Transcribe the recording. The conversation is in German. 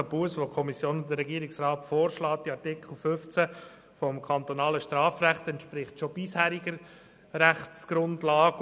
1000 Franken Busse, welche die Regierung und die Kommission vorschlagen, entsprechen bisherigem Recht.